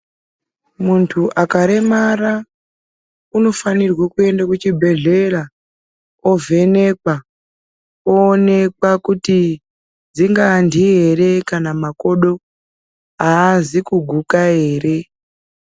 Muntu akaremara, unofanirwe kuyenda kuchibhedhlera, ovhenekwa, owonekwa kuti dzingandii here, kana kuti makodho haazi kuguka here?